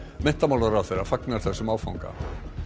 menntamálaráðherra fagnar þessum áfanga